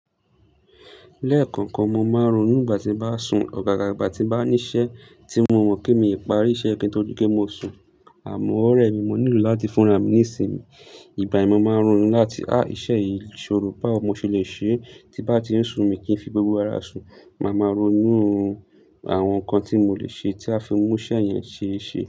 Lẹ́ẹ̀kọ̀kan, mo máa ń ronú ìgbà tí bá sùn, ọ̀gága ìgbà tí bá ní iṣẹ́ tí mo mọ̀ pé mí ò lè parí iṣẹ́ yi ko tó dipe mo sùn, àmọ́ ọ̀rẹ́ mi mo nílò láti fúnra mi nísìmí. Ìgbà yìí mo máa ń ronú láti á iṣẹ́ yìí ṣòro báwọ, mo ṣé lè ṣe tí bá ti ń ṣùn mí kí n fi gbogbo ara sùn, màá máa ronú àwọn nǹkan tí mo lè ṣe tí a fi mú iṣẹ́ yẹn ṣe é ṣe.